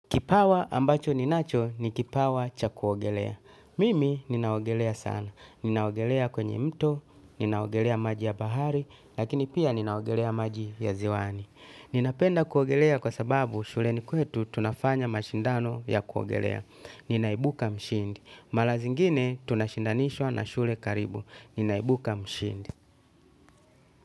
Kipawa ambacho ninacho ni kipawa cha kuogelea. Mimi ninaogelea sana. Ninaogelea kwenye mto, ninaogelea maji ya bahari, lakini pia ninaogelea maji ya ziwani. Ninapenda kuogelea kwa sababu shuleni kwetu tunafanya mashindano ya kuogelea. Ninaimbuka mshindi mara zingine tunashindanishwa na shule za karibu ninaimbuka mshindi.